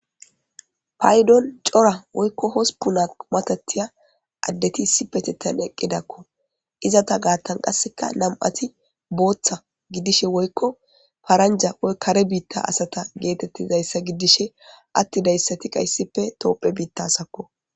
paydon cora woykko hospuna matatiya addeti issipetethan eqqidakko izata gaathan qasseka nam7ati booththa giddishe woykko paranja woyko kare biitta asata geetettizayssa giddishe attidayssati hayssappe toophiya biitta asakko